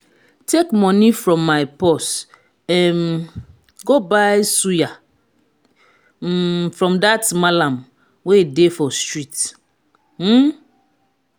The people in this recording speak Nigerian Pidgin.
take money from my purse um go buy suya um from dat mallam wey dey for street um